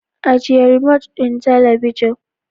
Ajiye remote ɗin talabijin.